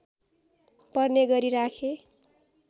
पर्ने गरी राखे